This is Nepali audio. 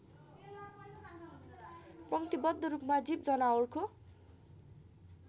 पङ्क्तिबद्ध रूपमा जीवजनावरको